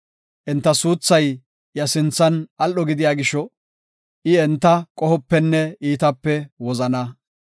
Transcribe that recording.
Enta suuthay iya sinthan al7o gidiya gisho, I, enta qohopenne iitape wozana.